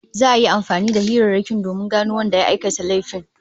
Za'a yi amfani da hirarrakin domin gano wanda ya aikata laifin